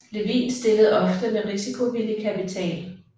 Levin stillede ofte med risikovillig kapital